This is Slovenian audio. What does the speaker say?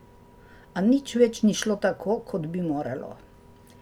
A nič več ni šlo tako, kot bi moralo.